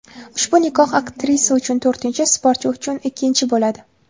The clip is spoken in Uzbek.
Ushbu nikoh aktrisa uchun to‘rtinchi, sportchi uchun ikkinchisi bo‘ladi.